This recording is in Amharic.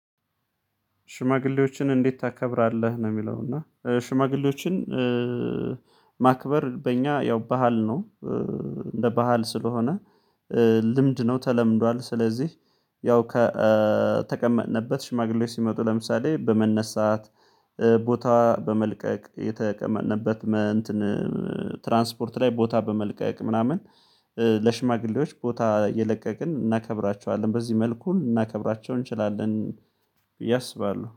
ሽማግሌዎችን እንዴት ታከብራለህ ነው የሚለው? እና ሽማግሌዎችን ማክበር በእኛ ያው ባህል ነው። እንደ ባህል ስለሆነ ልምድ ነው ተለምዷል። ስለዚህ ያው ከተቀመጥንበት ሽማግሌዎች ሲመጡ ለምሳሌ በመነሳት ቦታ በመልቀቅ የተቀመጥንበት። ትራንስፖርት ላይ ቦታ በመልቀቅ ምናምን። ለሽማግሌዎች ቦታ እየለቀቅን እናከብራቸዋለን በዚህ መልኩ ልናከብራቸው እንችላለን። ብዬ አስባለሁ